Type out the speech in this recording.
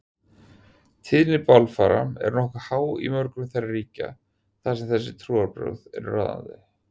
Tíðni bálfara er nokkuð há í mörgum þeirra ríkja þar sem þessi trúarbrögð eru ráðandi.